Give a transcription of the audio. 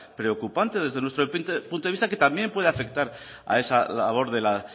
preocupante desde nuestro punto de vista que también puede afectar a esa labor de la